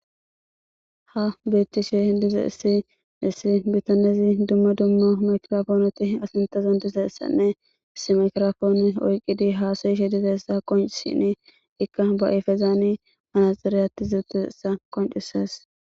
Ha beettishe dize issi issi bitanezi dumma dumma makrafooneti asintezon dize essanne issimakrafoone oyqqidi haasoyishe dize essa qoncsini ikka ba7ifezaani malaxireyati zuuttuessa qoncisas.